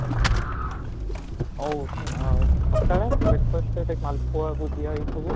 ଆଉ ଆଉ ସକାଳେ breakfast ମାଲପୁଆ ଭୁଜିଆ ଏ ସବୁ?